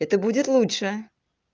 это будет лучше